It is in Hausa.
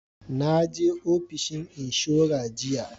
Naje ofishin inshora jiya